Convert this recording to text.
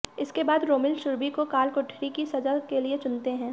इसके बाद रोमिल सुरभि को कालकोठरी की सजा के लिए चुनते हैं